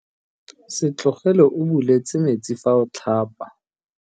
Se tlogele o buletse metsi fa o tlhapa.